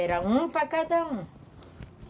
Era um para cada um.